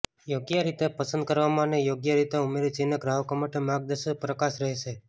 યોગ્ય રીતે પસંદ કરવામાં અને યોગ્ય રીતે ઉમેરી ચિહ્ન ગ્રાહકો માટે માર્ગદર્શક પ્રકાશ રહેશે